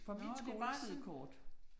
Nåh, det bare sådan